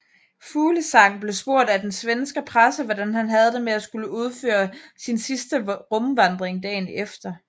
Fuglesang blev spurgt af den svenske presse hvordan han havde det med at skulle udføre sin sidste rumvandring dagen efter